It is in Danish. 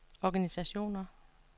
organisationer